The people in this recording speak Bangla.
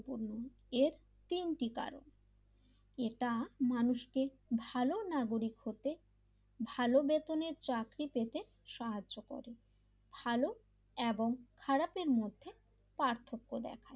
এ তিনটি কারণ এটা মানুষকে ভালো নাগরিক হতে ভালো বেতনের চাকরি পেতে সাহায্য করে ভালো এবং খারাপের মধ্যে পার্থক্য দেখায়,